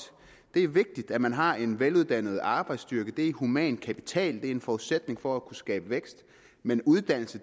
det er vigtigt at man har en veluddannet arbejdsstyrke det er human kapital og det er en forudsætning for at kunne skabe vækst men uddannelse